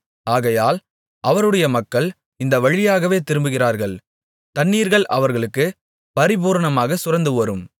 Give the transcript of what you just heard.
ஆகையால் அவருடைய மக்கள் இந்த வழியாகவே திரும்புகிறார்கள் தண்ணீர்கள் அவர்களுக்குப் பரிபூரணமாகச் சுரந்துவரும்